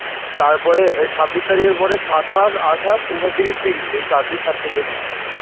তারপরে এ ছাব্বিশ এর পরে সাতাশ আটাশ উনত্রিশ ত্রিশ এই চার দিন certification হবে